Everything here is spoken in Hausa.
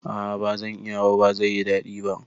A'a bazan iya ba, bazai yi daɗi ba